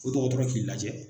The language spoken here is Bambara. O dɔgɔtɔrɔ k'i lajɛ